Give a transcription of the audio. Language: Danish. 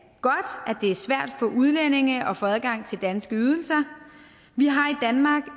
det er svært for udlændinge at få adgang til danske ydelser vi har